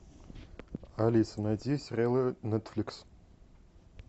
алиса найди сериалы нетфликс